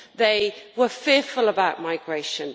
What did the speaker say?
They were fearful about migration.